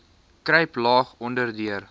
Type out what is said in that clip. kruip laag onderdeur